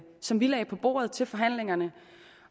som vi lagde på bordet til forhandlingerne